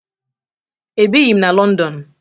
Ebighi m na Lọndọn